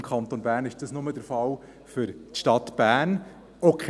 Im Kanton ist dies nur für die Stadt Bern der Fall.